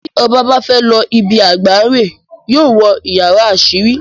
Tí oba bá féé lo ibi àgbà rèè, yóó wo yàrá àsírí.